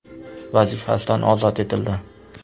vazifasidan ozod etildi.